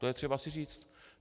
To je třeba si říct.